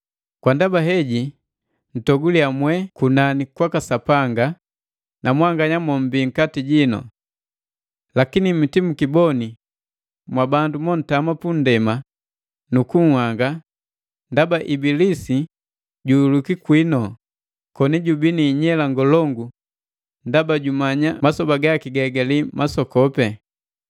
Kwa ndaba heji, ntoguliya mwe kunani kwaka Sapanga na mwanganya mommbi nkati jinu. Lakini mitimukiboni mwabandu mo ntama punndema nu nhanga ndaba Ibilisi juhulwiki kwinu, koni jubii niinyela ngolongu, ndaba jumanya masoba gaki gahigali masokopi.”